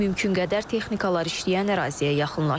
Mümkün qədər texnikalar işləyən əraziyə yaxınlaşırıq.